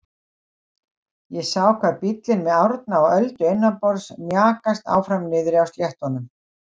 Ég sé hvar bíllinn með Árna og Öldu innanborðs mjakast áfram niðri á sléttunum.